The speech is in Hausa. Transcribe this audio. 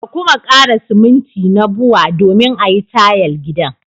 Ka kuma kara siminti na Bua domin a yi tayal gidan.